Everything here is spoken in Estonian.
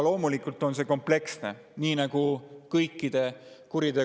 Loomulikult on see kompleksne.